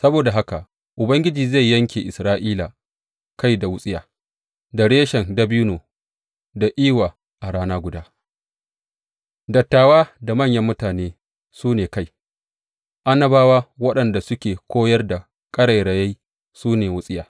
Saboda haka Ubangiji zai yanke Isra’ila kai da wutsiya, da reshen dabino da iwa a rana guda; dattawa da manyan mutane su ne kai, annabawa waɗanda suke koyar da ƙarairayi su ne wutsiya.